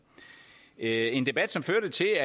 er en debat som førte til